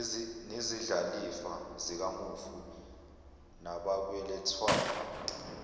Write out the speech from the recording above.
nezindlalifa zikamufi nabakweletwayo